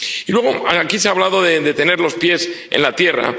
Y aquí se ha hablado de tener los pies en la tierra.